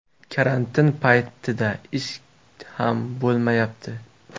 Karantin paytida ish ham bo‘lmayapti.